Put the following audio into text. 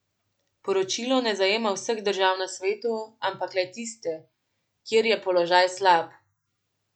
Poročilo ne zajema vseh držav na svetu, ampak le tiste, kjer je položaj slab.